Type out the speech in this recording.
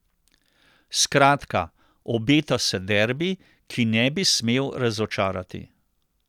Skratka, obeta se derbi, ki ne bi smel razočarati.